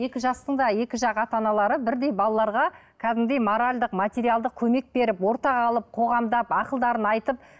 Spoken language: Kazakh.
екі жастың да екі жақ ата аналары бірдей балаларға кәдімгідей моральдық материалдық көмек беріп ортаға алып қоғамдап ақылдарын айтып